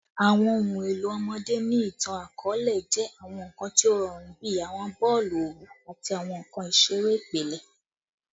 Awọn ohun elo ọmọde ni itan-akọọlẹ jẹ awọn nkan ti o rọrun bi awọn boolu owu ati awọn nkan isere ipilẹ